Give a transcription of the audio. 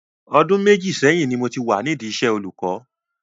Ọdún méjì sẹ́yìn ni mo ti wà nídi iṣẹ́ olùkọ́.